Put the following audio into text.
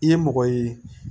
I ye mɔgɔ ye